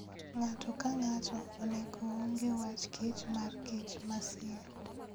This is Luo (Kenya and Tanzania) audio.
Ng'ato ka ng'ato onego ong'e wachkich markich masie.